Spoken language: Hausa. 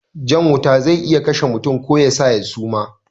Jan wuta zai iya kashe mutum ko yasa ya suma